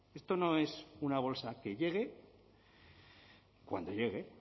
esto no es una bolsa que llegue cuando llegue